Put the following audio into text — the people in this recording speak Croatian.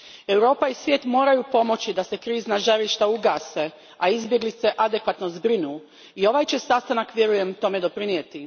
Europa i svijet moraju pomoći da se krizna žarišta ugase, a izbjeglice adekvatno zbrinu, i ovaj će sastanak, vjerujem, tome doprinijeti.